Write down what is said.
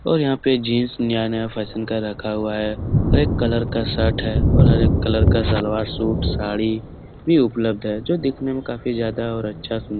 और यहाँ पे जीन्स नया-नया फैशन का रखा हुआ है हर एक कलर का शर्ट है और हर एक कलर का सलवार शूट साड़ी भी उपलब्ध है जो दिखने मे काफी ज्यादा और अच्छा --